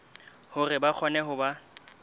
hore ba kgone ho ba